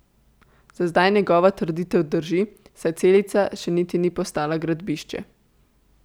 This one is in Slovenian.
Za zdaj njegova trditev drži, saj Celica še niti ni postala gradbišče.